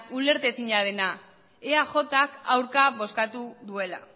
ulertezina dena eajk aurka bozkatu duela